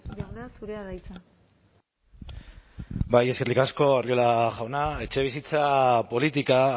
jauna zurea da hitza bai eskerrik asko arriola jauna etxebizitza politika